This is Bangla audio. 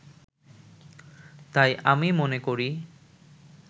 তাই আমি মনে করি